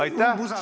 Aitäh!